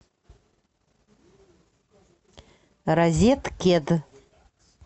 розеткед